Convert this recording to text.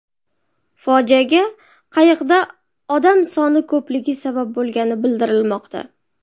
Fojiaga qayiqda odam soni ko‘pligi sabab bo‘lgani bildirilmoqda.